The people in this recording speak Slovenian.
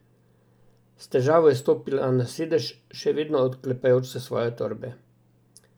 S težavo je stopila na sedež, še vedno oklepajoč se svoje torbe.